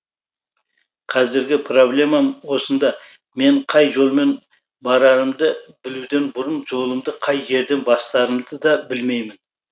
қазіргі проблемам осында мен қай жолмен барарымды білуден бұрын жолымды қай жерден бастарымды да білмеймін